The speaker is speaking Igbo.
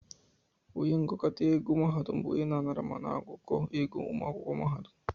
Onye ngụkọta ego mahadum bụ onye na-anara ma na-agụkọ ego ụmụ akwụkwọ mahadum